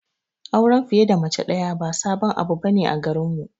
Auren fiye da mace daya ba sabon abu bane a garinmu.